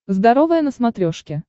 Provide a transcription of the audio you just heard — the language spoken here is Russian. здоровое на смотрешке